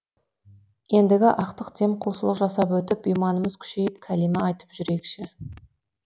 ендігі ақтық демге құлшылық жасап өтіп иманымыз күшейіп кәлима айтып жүрейікші